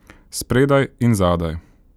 Spredaj in zadaj.